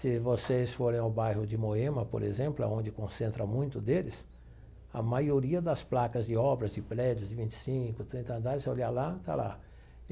Se vocês forem ao bairro de Moema, por exemplo, aonde concentra muito deles, a maioria das placas de obras de prédios de vinte e cinco, trinta andares, se você olhar lá, está lá.